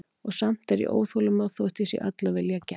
Og samt er ég óþolinmóð þótt ég sé öll af vilja gerð.